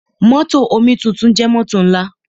Mótò omituntun jẹ́ mótò ńlá.